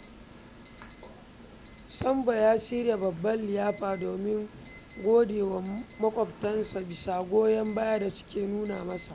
Sambo ya shirya babbar liyafa domin gode wa maƙwabtansa bisa goyon bayan da suke nuna masa.